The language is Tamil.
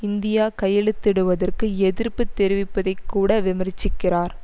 இந்தியா கையெழுத்திடுவதற்கு எதிர்ப்பு தெரிவிப்பதைக் கூட விமர்ச்சிக்கிறார்